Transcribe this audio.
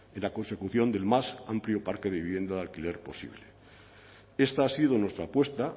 en la consecución del más amplio parque de vivienda de alquiler posible esta ha sido nuestra apuesta